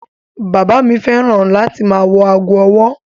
Bàbá fẹ́ràn láti ma wọ ago ọwọ́.